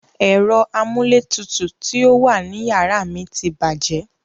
Ẹ̀rọ amúlétutù tí ó wà ní yàrá mi ti bàjẹ́.